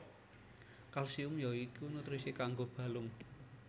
Kalsium ya iku nutrisi kanggo balung